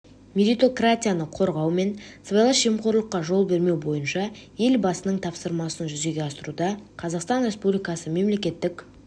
меритократияны қорғау мен сыбайлас жемқорлыққа жол бермеу бойынша ел басының тапсырмасын жүзеге асыруда қазақстан республикасы мемлекеттік